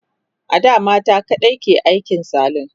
ada mata kaɗai ke aikin salon